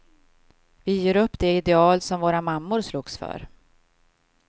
Vi ger upp de ideal som våra mammor slogs för.